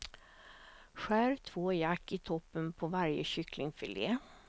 Skär två jack i toppen på varje kycklingfilé.